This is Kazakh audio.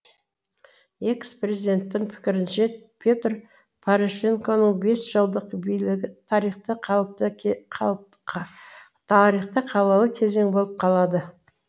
экс президенттің пікірінше петр порошенконың бес жылдық билігі тарихта қаралы кезең болып қалады